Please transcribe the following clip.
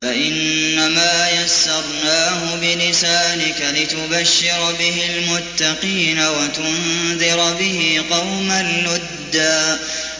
فَإِنَّمَا يَسَّرْنَاهُ بِلِسَانِكَ لِتُبَشِّرَ بِهِ الْمُتَّقِينَ وَتُنذِرَ بِهِ قَوْمًا لُّدًّا